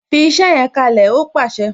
"Fi iṣẹ yẹn kalẹ "ó pàṣẹ